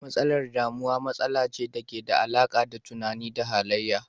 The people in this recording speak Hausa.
Matsalar damuwa matsala ce dake da alaka da tunani da halayya.